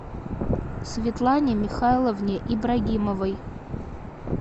светлане михайловне ибрагимовой